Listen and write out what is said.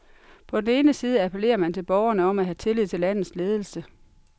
På den ene side appellerer man til borgerne om at have tillid til landets ledelse.